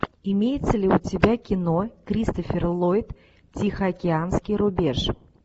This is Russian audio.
имеется ли у тебя кино кристофер ллойд тихоокеанский рубеж